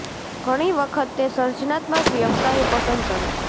ઘણી વખત તે સર્જનાત્મક વ્યવસાયો પસંદ કરે છે